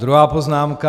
Druhá poznámka.